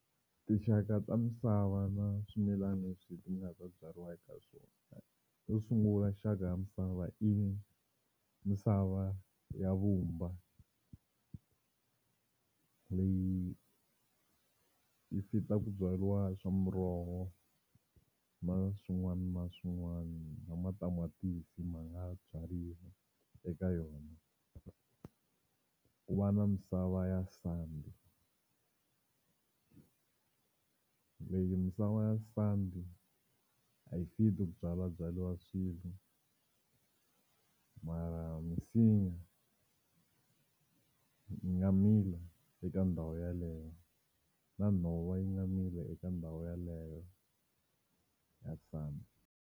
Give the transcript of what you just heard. Tinxaka ta misava na swimilana leswi leti nga ta byariwaka swona. Yo sungula xaka ya misava i misava ya vumba leyi yi fit-a ku byariwa swa muroho na swin'wana na swin'wana na matamatisi ma nga byariwa eka yona. Ku va na misava ya sandi leyi misava ya sandi a yi fit-i ku byalabyariwa swilo mara misinya yi nga mila eka ndhawu yaleyo na nhova yi nga mila eka ndhawu yaleyo ya sandi.